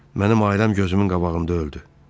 Mənim ailəm gözümün qabağında öldü.